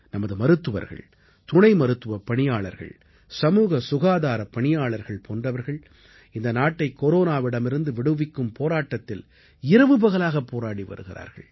நமது மருத்துவர்கள் துணை மருத்துவப் பணியாளர்கள் சமூக சுகாதாரப் பணியாளர்கள் போன்றவர்கள் இந்த நாட்டைக் கொரோனாவிடமிருந்து விடுவிக்கும் போராட்டத்தில் இரவு பகலாக போராடி வருகிறார்கள்